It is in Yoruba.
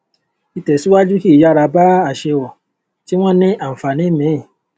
ìtẹsíwájú kì í yára bá aṣèwọ tí wọn ní ànfààní míì